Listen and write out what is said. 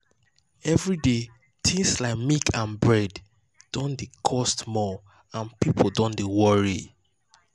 everyday things like milk and bread don dey cost more and people don dey worry.